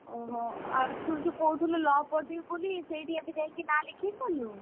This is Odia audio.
ଓଃହୋ ଆଉ ତୁ ଯୋଉ କହୁଥିଲୁ law ପଢିବୁ ବୋଲି ସେଇଠି ଏବେ ଯାଇକି ନାଆ ଲେଖେଇ ସାରିଲୁଣି?